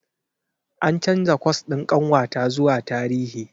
An canza kwas ɗin ƙanwata zuwa Tarihi.